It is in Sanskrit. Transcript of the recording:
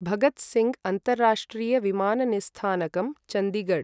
भगत् सिंग् अन्ताराष्ट्रीय विमान निस्थानकम्, चन्दिगड्